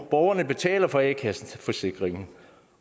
borgerne betaler for a kasseforsikringen